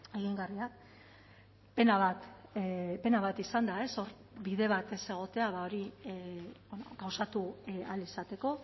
egingarriak pena bat pena bat izan da ez hor bide bat ez egotea ba hori gauzatu ahal izateko